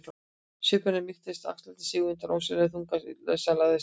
Svipur hennar mýktist og axlirnar sigu undan ósýnilegum þunga sem lagðist yfir hana.